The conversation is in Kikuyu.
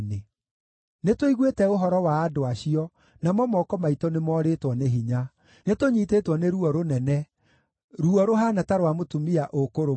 Nĩtũiguĩte ũhoro wa andũ acio, namo moko maitũ nĩmorĩtwo nĩ hinya. Nĩtũnyiitĩtwo nĩ ruo rũnene, ruo rũhaana ta rwa mũtumia ũkũrũmwo.